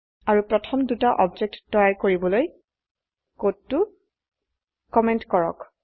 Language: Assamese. আৰু প্ৰথম দুটা অবজেক্ট তৈয়াৰ কৰিবলৈ কোডটো কমেন্ট কৰক